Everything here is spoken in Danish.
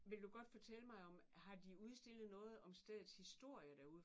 Vil du godt fortælle mig om har de udstillet noget om stedets historie derude?